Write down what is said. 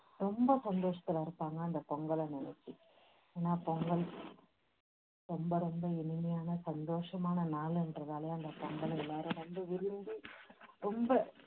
ரொம்ப சந்தோஷத்துல இருப்பாங்க அந்த பொங்கல் அன்னிக்கு. ஏன்னா பொங்கல் ரொம்ப ரொம்ப இனிமையான சந்தோஷமான நாளுன்றதாலயே அந்த பொங்கலை எல்லாரும் ரொம்ப விரும்பி ரொம்ப